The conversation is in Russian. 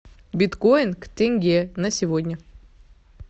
биткоин к тенге на сегодня